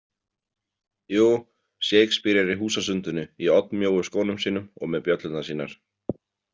Jú, Shakespeare er í húsasundinu í oddmjóu skónum sínum og með bjöllurnar sínar.